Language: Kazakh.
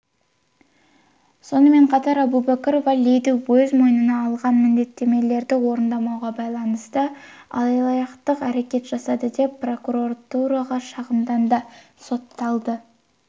сонымен қатар әубәкірова лиді өзмойнына алған міндеттемелерді орындамауға байланысты алаяқтық әрекет жасады деп прокуратураға шағымданды соталды